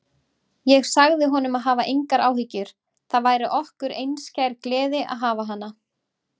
Ég sagði honum að hafa engar áhyggjur, það væri okkur einskær gleði að hafa hana.